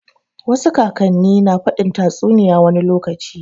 Wasu kakan ne na faɗin tatsuniya wani lokaci